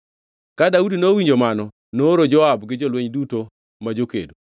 Ka Daudi nowinjo mano nooro Joab gi jolweny duto ma jokedo.